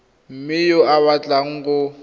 mongwe yo o batlang go